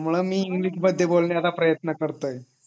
त्या मुळे मी इंग्लिश बोलायचं प्रयत्न करतोय